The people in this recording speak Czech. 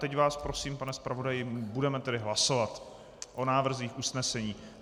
Teď vás prosím, pane zpravodaji, budeme tedy hlasovat o návrzích usnesení.